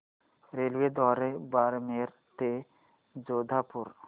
रेल्वेद्वारे बारमेर ते जोधपुर